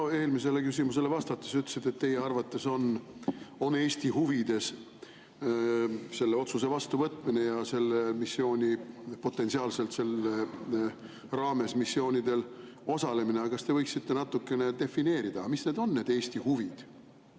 Minu eelmisele küsimusele vastates te ütlesite, et teie arvates on Eesti huvides selle otsuse vastuvõtmine ja potentsiaalselt selle raames missioonidel osalemine, aga kas te võiksite defineerida, mis on need Eesti huvid.